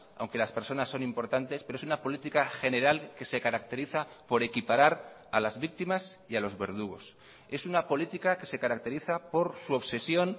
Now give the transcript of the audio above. aunque las personas son importantes pero es una política general que se caracteriza por equiparar a las víctimas y a los verdugos es una política que se caracteriza por su obsesión